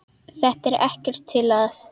Þetta er ekkert til að.